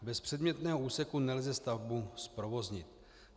Bez předmětného úseku nelze stavbu zprovoznit.